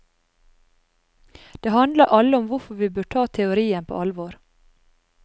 De handler alle om hvorfor vi bør ta teorien på alvor.